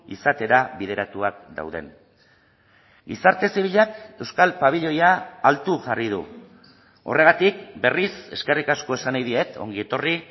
izatera bideratuak dauden gizarte zibilak euskal pabiloia altu jarri du horregatik berriz eskerrik asko esan nahi diet ongi etorri